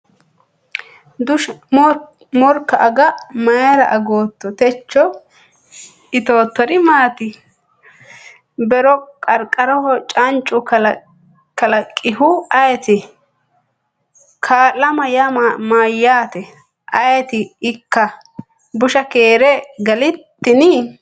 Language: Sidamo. Morka ago mayra agatto? Techo itoottori maati? Be’ro qarqaraho canco kalaqihu ayeti? Kaa’lama yaa mayyaate? Ayeti ikka? Dusha keere galtini?.